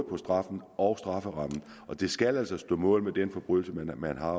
på straffen og strafferammen og det skal altså stå mål med den forbrydelse man har